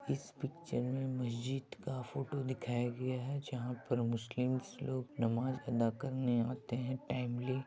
इस पिक्चर मे मस्जिद का फोटो दिखाया गया है जहाँ मुस्लिम लोग नमाज अदा करने आते है टाइमली